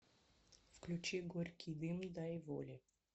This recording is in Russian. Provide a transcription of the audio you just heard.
включи горький дым дай воли